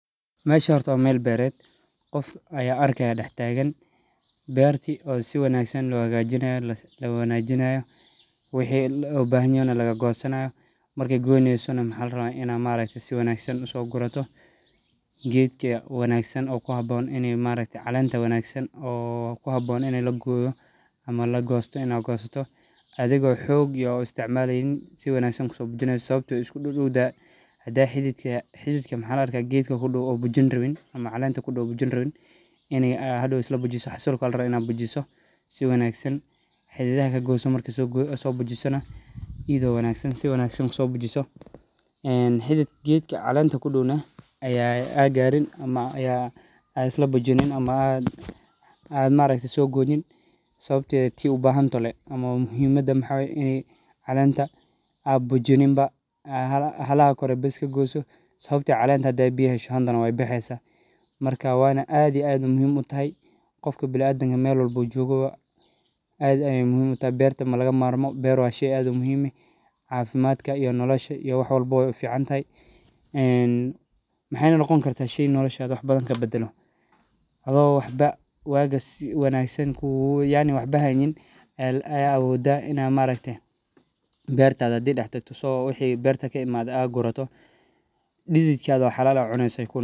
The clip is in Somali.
Meshan horta wa mel bereet, gof ayan arkaya dax tagan berti oo siwangsan loxagajinayo lowanajinayo, wixi lobaxanyoo naa lagagosanayo, marki goynesoo naa waxa larawaa inad maarkte si wanagsan ugurato, qedka wanagsan ona kuxabon ini calenta wanagsan oo kuxaboon ini lagoyo, ama lagosto inadh gosato, adhigo xoog iyo uisticmaleynin si wanagsan kusobujineyso, sawabto ehh way iskudodowtaha, xadha xididka xididka maxalaarka qedka kudow o bujin rawin ama calenta kudow o bujinirawin inay xadow islabujiso xasilkoaya larawa inadh bujiso, si wanagsan xidhidhaxa kagoyso, marki sobujisnaa, idho wanagsan si wanagsan kusobujiso, enn xidhidh qedka calenta kudownax, adh garin, ama yaa islabujinin ama adh maarakte sogoynin, sawabte tii ubaxantoxoo lee ama muxiimadha maxa waye ini calenta abujinin baa, xalaxa kore biis kagoysoo, sawabte calenta hadhey biya heshoo waybixeysaa, wana adh iyo adh ayay muxiim utaxay godki biniadamka melwapba uu jogawaa adh ayay muxiim utaxayberta lagamamarmo wa shey adh umuxiimeh, cafimdhka iyo noloshaa iyo waxwalba way uficantaxay, een maxayna nogon karta shey noloshadha wax badan kabadalo, adho waxbo wagaas xaynin yaani waxbo haynin a awodha ina mataktee bertadha xadhi daxtakto wixi berta kimadhe adh quratoo, didhidka o xalal eh adh cuneysaa.